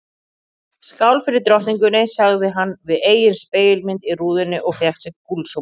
Skál fyrir drottningunni sagði hann við eigin spegilmynd í rúðunni og fékk sér gúlsopa.